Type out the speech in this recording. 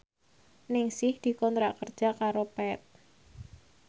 Ningsih dikontrak kerja karo Path